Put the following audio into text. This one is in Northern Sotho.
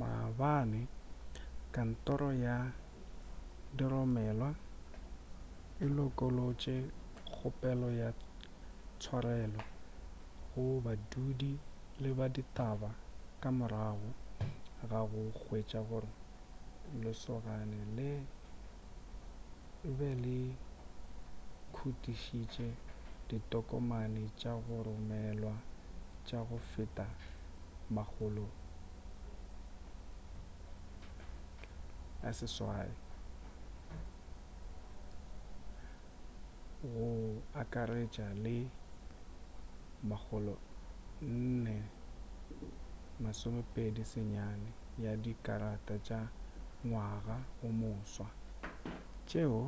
maabane kantoro ya diromelwa e lokolotše kgopelo ya tshwarelo go badudi le ba ditaba ka morago ga go hwetša gore lesogane le be le khutišitše ditokomane tša go romelwa tša go feta 600 go akaretša le 429 ya di karata tša ngwaga o moswa tšeo